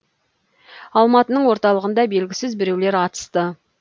алматының орталығында белгісіз біреулер атысты